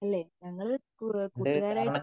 ലെ ഞങ്ങൾ കൂട്ടുകാരായിട്ട്